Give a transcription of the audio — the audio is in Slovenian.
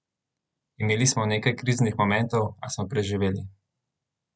Imeli smo nekaj kriznih momentov, a smo preživeli!